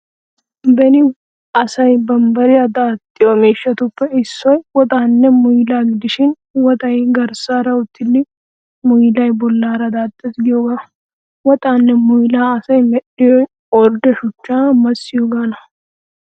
Beni asay bambbariyaa daaxxiyo mishshatuppe issoy woxaanne muylaa gidishin woxay garssaara uttida muylay bollaara daaxxees giyoogaa. Woxaanne muylaa asay medhdhiyoy ordde shuchchaa massiyoogaana.